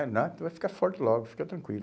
É nada, tu vai ficar forte logo, fica tranquilo.